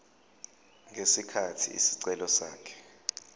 ngesikhathi isicelo sakhe